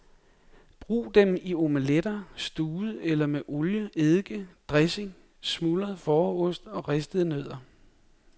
Brug dem i omeletter, stuvet eller med olie eddike dressing, smuldret fåreost og ristede nødder.